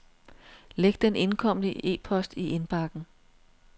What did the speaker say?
Læg den indkomne e-post i indbakken.